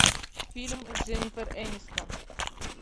фильм с дженнифер энистон